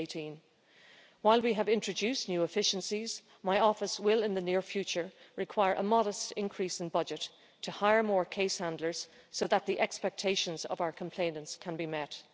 2018. While we have introduced new efficiencies, my office will, in the near future, require a modest increase in budget to hire more case handlers so that the expectations of our complainants can be met.